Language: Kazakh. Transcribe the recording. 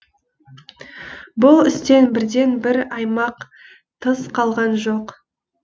бұл істен бірде бір аймақ тыс қалған жоқ